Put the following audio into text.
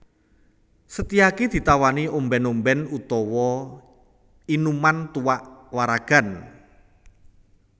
Setyaki ditawani ombèn ombèn utawa inuman tuak waragan